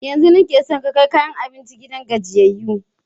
Yanzun nake son ka kai kayan abincin gidan gajiyayyu.